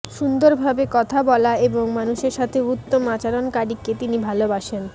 সুন্দরভাবে কথা বলা এবং মানুষের সাথে উত্তম আচরণকারীকে তিনি ভালোবাসেন